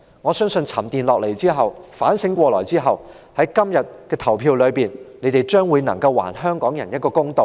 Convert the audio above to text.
我相信，沉澱下來後，反省過來後，在今天的投票中，他們將會還香港人一個公道。